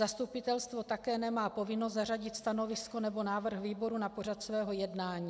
Zastupitelstvo také nemá povinnost zařadit stanovisko nebo návrh výboru na pořad svého jednání.